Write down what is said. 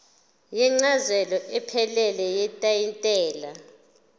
incazelo ephelele yetayitela